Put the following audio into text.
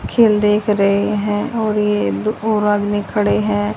खेल देख रहे हैं और ये दो और आदमी खड़े है।